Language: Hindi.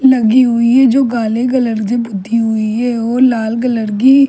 लगी हुई है जो काले कलर की पुती हुई है और लाल कलर की--